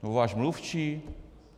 Nebo váš mluvčí?